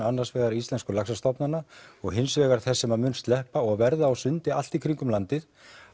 annars vegar íslensku laxastofnanna og hins vegar þess sem mun sleppa og verða á sundi allt í kringum landið